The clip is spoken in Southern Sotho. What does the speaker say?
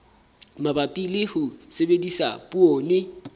mabapi le ho sebedisa poone